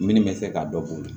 Minnu bɛ fɛ ka dɔ bɔ k'o de